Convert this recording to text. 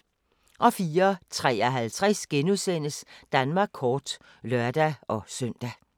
04:53: Danmark kort *(lør-søn)